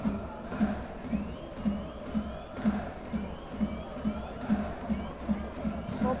அதுகூட like அதுக்கு வந்து ஒரு dessert மாதிரி ஒன்னு அதுகப்ரம் அதுக்கு ரைத்தா அந்த மாதிரிலாம் இருகும் இல்லயா?